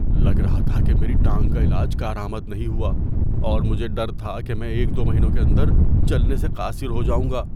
لگ رہا تھا کہ میری ٹانگ کا علاج کار آمد نہیں ہوا اور مجھے ڈر تھا کہ میں ایک دو مہینوں کے اندر چلنے سے قاصر ہو جاؤں گا۔